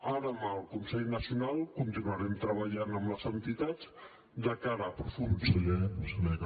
ara amb el consell nacional continuarem treballant amb les entitats de cara a aprofundir